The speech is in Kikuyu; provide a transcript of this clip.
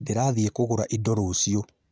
Ndĩrathiĩ kũgũra indo rũciũ